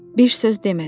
Bir söz demədi.